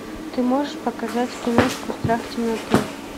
ты можешь показать киношку страх темноты